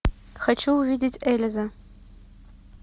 хочу увидеть элиза